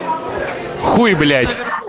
хуй блять